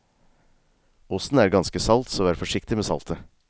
Osten er ganske salt, så vær forsiktig med saltet.